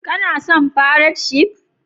Kana son fairat shif?